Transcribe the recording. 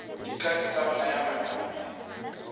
dikatso tsa go naya manane